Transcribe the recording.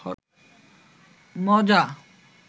মজা